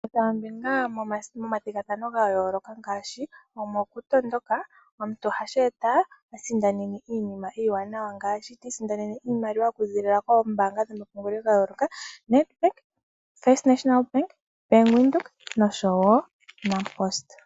Kutha ombinga moma thigathano gayoloka ngaashi omokutondoka omuntu ohashi eta asindane iinima iwanawa. Ngaashi ti isindanena iimaliwa okuza koombanga dhomaludhi gayoloka Nedbank, First National Bank, Bank Windhoek oshowo Nampost.